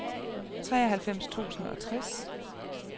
treoghalvfems tusind og tres